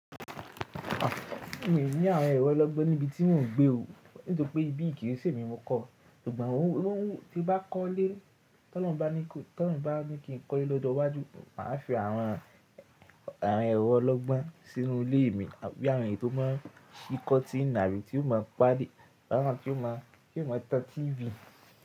Mi ò ní àwọn ẹrọ ọlọ́gbọ́n níbi tí mò ń gbé o, nítorí pé ibí yìí kì í ṣe mi mo kọ́. Ṣùgbọ́n tí bá kọ́ lé, ti olorun bá ní kí n kọ́ ilé lọ́jọ̀wájù, mà á fi àwọn ẹrọ ọlọ́gbọ́n sínú ilé mi, bí i awon eyi tí ó má ń ṣí cottíìnì, abi tí ó má a páde, àwon tí ó má a tan TV.